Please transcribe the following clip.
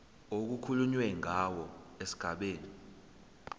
okukhulunywe ngawo esigabeni